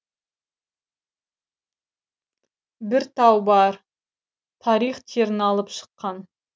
бір тау бар тарих терін алып шыққан